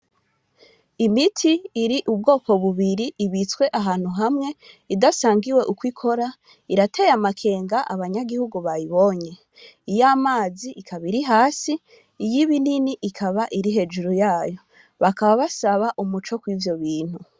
Imiti iri ubwoko bubiri ibitswe ahantu hamwe idasangiwe ukwo ikora irateye amakenga abanyagihugu bayibonye iy' amazi ikaba iri hasi iy' ibinini ikaba iri hejuru yayo bakaba basaba umuco kw' ivyo bintu.